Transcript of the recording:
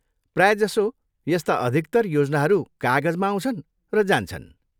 प्रायःजसो, यस्ता अधिकतर योजनाहरू कागजमा आउँछन् र जान्छन्।